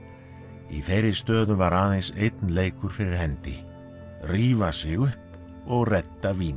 í þeirri stöðu var aðeins einn leikur fyrir hendi rífa sig upp og redda víni